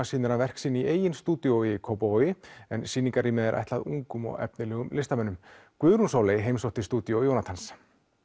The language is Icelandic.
sýnir hann verk sín í eigin stúdíói í Kópavogi en er ætlað ungum og efnilegum listamönnum Guðrún Sóley heimsótti stúdíó Jónatans